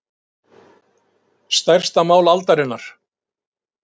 Stærsta mál aldarinnar